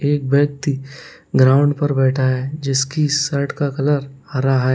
एक व्यक्ति ग्राउंड पर बैठा है जिसकी शर्ट का कलर हरा है।